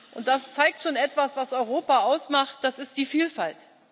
Und das zeigt schon etwas, was Europa ausmacht, das ist die Vielfalt.